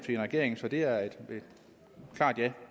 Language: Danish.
en regering så det er et klart ja